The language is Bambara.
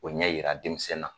O ɲɛ jira denmisɛn na